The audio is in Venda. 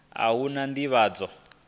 a hu na u ḓivhadzwa